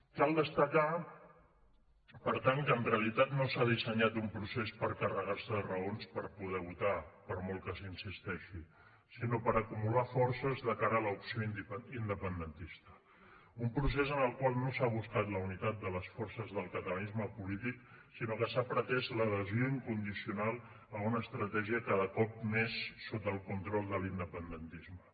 cal destacar per tant que en realitat no s’ha dissenyat un procés per carregarse de raons per poder votar per molt que s’hi insisteixi sinó per acumular forces de cara a l’opció independentista un procés en el qual no s’ha buscat la unitat de les forces del catalanisme polític sinó que s’ha pretès l’adhesió incondicional a una estratègia cada cop més sota el control de l’independentisme